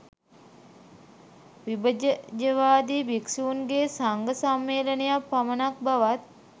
විභජජවාදී භික්‍ෂූන්ගේ සංඝ සම්මේලනයක් පමණක් බවත්